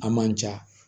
A man ja